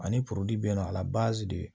Ani bi na a la